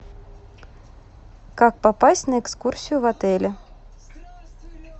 как попасть на экскурсию в отеле